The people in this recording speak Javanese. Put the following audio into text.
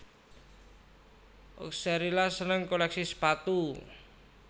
Oxcerila seneng kolèksi sepatu